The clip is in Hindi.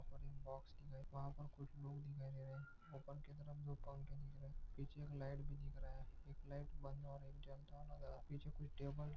और एक बॉक्स भी है वहा पर कुच्छ लोग दिखाई दे रहे है उपर की तरफ दो पंखे दिख रहे पिच्छे एक लाइट भी दिख रहा है एक लईट बंध और एक जलता हुआ नज़र आ रहा पिच्छे कुच्छ टेबल --